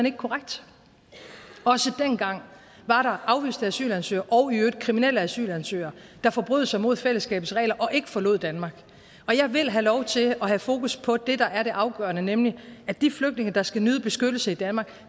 ikke korrekt også dengang var der afviste asylansøgere og i øvrigt kriminelle asylansøgere der forbrød sig mod fællesskabets regler og ikke forlod danmark og jeg vil have lov til at have fokus på det der er det afgørende nemlig at de flygtninge der skal nyde beskyttelse i danmark